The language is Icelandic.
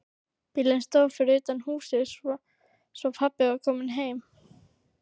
Bíllinn stóð fyrir utan húsið, svo pabbi var kominn heim.